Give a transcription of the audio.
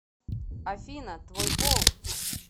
афина твой пол